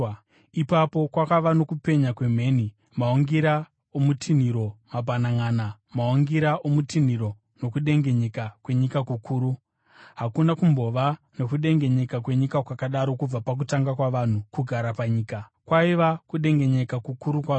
Ipapo kwakava nokupenya kwemheni, maungira okutinhira mabhananʼana, maungira okutinhira, nokudengenyeka kwenyika kukuru. Hakuna kumbova nokudengenyeka kwenyika kwakadaro kubva pakutanga kwavanhu kugara panyika; kwaiva kudengenyeka kukuru kwazvo.